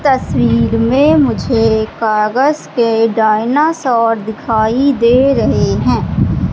तस्वीर मे मुझे कागज के डायनासोर दिखाई दे रहे है।